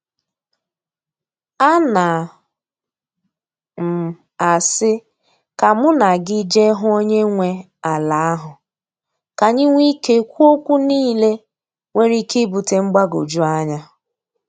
Ana m asị ka mụ na gị je hụ onye nwe ala ahụ, ka anyị nwee ike kwuo okwu niile nwere ike ibute mgbagwoju anya.